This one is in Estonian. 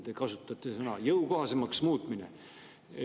Te kasutate väljendit "jõukohasemaks muutmine".